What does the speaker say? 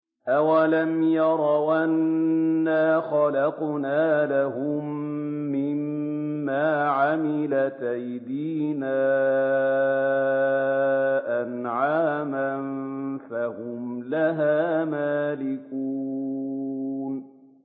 أَوَلَمْ يَرَوْا أَنَّا خَلَقْنَا لَهُم مِّمَّا عَمِلَتْ أَيْدِينَا أَنْعَامًا فَهُمْ لَهَا مَالِكُونَ